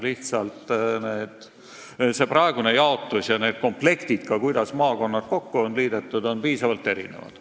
Lihtsalt see praegune jaotus ja need komplektid, kuidas maakonnad kokku on liidetud, on piisavalt erinevad.